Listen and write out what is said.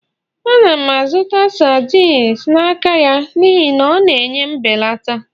Ana m azụta sardines n'aka ya n'ihi na ọ na-enye mbelata